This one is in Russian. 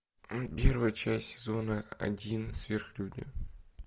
первая часть сезона один сверхлюди